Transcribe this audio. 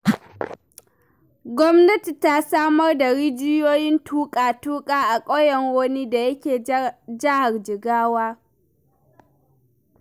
Gwamnati ta samar da rijiyoyin tuƙa-tuƙa a ƙauyen Roni da yake Jihar Jigawa.